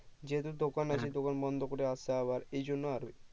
যেহেতু দোকান আছে দোকান বন্দ করে আসা আবার এই জন্য আরো